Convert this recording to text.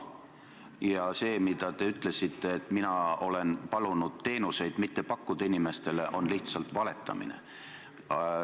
See, mida te ütlesite, et mina olen palunud inimestele teenuseid mitte pakkuda, on lihtsalt valetamine.